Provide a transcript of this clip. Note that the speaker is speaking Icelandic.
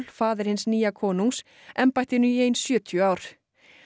faðir hins nýja konungs embættinu í sjötíu ár